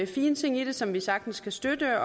fine ting i det som vi sagtens kan støtte